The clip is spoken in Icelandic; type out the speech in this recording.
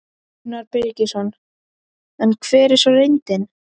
Gunnar Birgisson: En hver er svo reyndin?